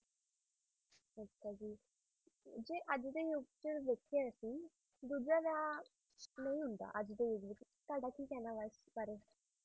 ਅੱਛਾ ਜੀ ਜੇ ਅੱਜ ਦੇ ਯੁਗ ਵਿੱਚ ਵੇਖੀਏ ਅਸੀਂ ਦੂਜਾ ਵਿਆਹ ਨਹੀਂ ਹੁੰਦਾ ਅੱਜ ਦੇ ਯੁਗ ਵਿੱਚ ਤੁਹਾਡਾ ਕੀ ਕਹਿਣਾ ਏ ਇਸ ਵਾਰੇ